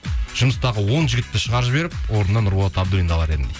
жұмыстағы он жігітті шығарып жіберіп орнына нұрболат абдуллинді алар едім дейді